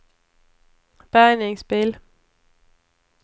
bärgningsbil